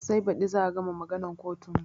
Sai baɗi za a gama maganan kotun mu